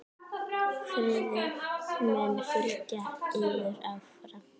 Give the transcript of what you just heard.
Friðrik mun fylgja yður áfram.